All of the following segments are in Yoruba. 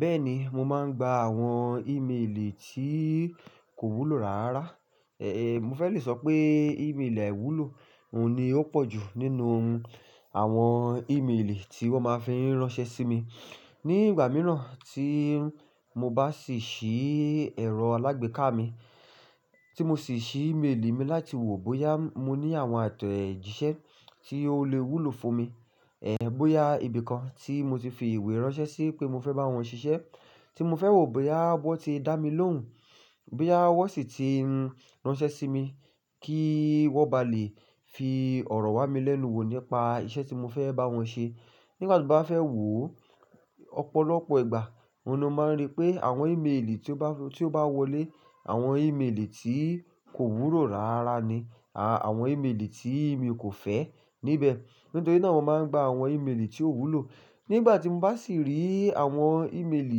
Bẹ́ẹ̀ni, mo máa ń gba àwọn ìmeelì tí kò wúlò rárá. Èé, mo fẹ́ le sọ pé ìmeelì àìwúlò, òun ni ó pọ̀ jù nínú àwọn ìmeelì tí wọ́n máa fí ń ránṣẹ́ sí mi. Ni ìgbà mìíràn tí mo bá sì ṣí ẹ̀rọ alágbèéká mi, tí mo sì ṣí ìmeélì mi láti wo bóyá mo ní àwọn àtẹ̀jíṣẹ́ tí ó le wúlò fún mi. Ẹ̀ bóyá ibìkan tí mo ti fi ìwé ránṣẹ́ sí pé mo fẹ́ bá wọn ṣiṣẹ́, tí mo fẹ́ wò bóyá wọ́n ti dá mi lóhùn, bóyá wọ́n sì ti ránṣẹ́ sí mi kí wọ́n bá lè fi ọ̀rọ̀ wá mi lẹ́nu wò nípa iṣẹ́ tí mo fẹ́ bá wọn ṣe. Nígbà tí mo bá fẹ́ wò ó, ọ̀pọ̀lọpọ̀ ìgbà, òun ni ó máa ń rí pé àwọn ìmeelì tí ó bá, tí ó bá wọlé, àwọn ìmeelì tí kò wúlò rárá ni. Àwọn ìmeelì tí mi kò fẹ́ níbẹ̀. Nítorí náà wọ́n máa ń gba àwọn ìmeelì tí ó wúlò. Nígbà tí mo bá sì rí àwọn ìmeelì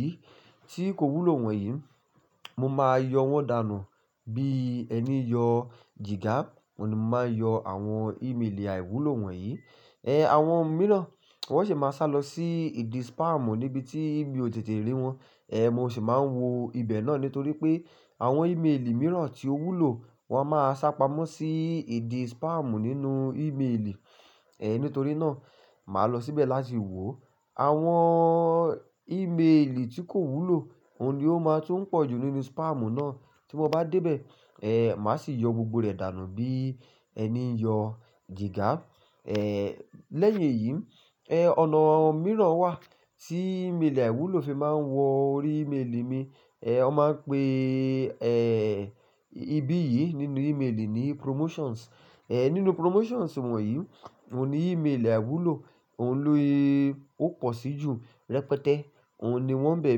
yìí tí kò wúlò wọ̀nyí, mo máa yọ wọ́n dànù bí ẹni yọ jìgà. Òun ni mo máa yọ àwọn ìmeelì àìwúlò wọ̀nyí. Ẹ̀ àwọn mìíràn, wọ́n sì máa sálọ sí ìdí spam níbi tí mi ò tètè rí wọn. Ẹ̀ mo sì máa ń wo ibẹ̀ náà nítorí pé àwọn ìmeelì mìíràn tí ó wúlò wọ́n máa sá pamọ́ sí ìdí spam nínú ìmeelì. Ẹ̀ nítorí náà, màá lọ síbẹ̀ láti wò. Àwọn ìmeelì tí kò wúlò, òun ni ó máa tún pọ̀ jù nínú spam náà. Tí mo bá dé bẹ̀, ẹ̀ màá sì yọ gbogbo rẹ̀ dànù bí ẹni yọ jìgà. Ẹ̀ lẹ́yìn èyí, ẹ̀ ọ̀nà mìíràn wà tí ìmelì àìwúlò fi máa ń wọ orí ìmelì mi. Ẹ̀ wọ́n máa ń pe, ẹ́ẹ́, ibí yìí nínú ìmeelì ní promotions. Ẹ̀ nínú promotions wọ̀nyí, òun ni ìmeelì àìwúlò, òun ló, ó pọ̀ sí jù rẹpẹtẹ. Òun ni wọ́n bẹ̀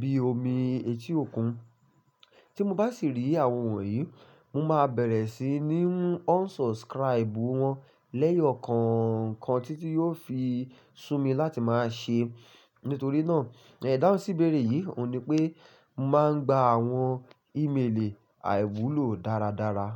bí omi etí òkun. Tí mo bá sì rí àwọn wọ̀nyí, mo máa bẹ̀rẹ̀ sí ní unsubscribe wọ́n lẹ́yọ kọ̀ọ̀kan títí yóò fi sú mi láti máa ṣe. Nítorí náà, ẹ̀ dáhùn sí ìbéèrè yìí, òun ni pé màá ń gba àwọn ìmeelì àìwúlò dáradára.